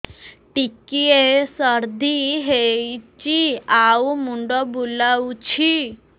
ଟିକିଏ ସର୍ଦ୍ଦି ହେଇଚି ଆଉ ମୁଣ୍ଡ ବୁଲାଉଛି